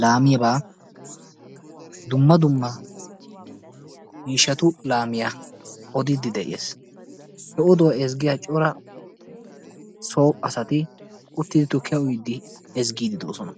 laamiyaaba dumma dumma miishshatu laamiyaa odidde de'ees. He oduwa ezggiyaa cora so asati uttidi tukkiya uyyide ezggide de'oosona.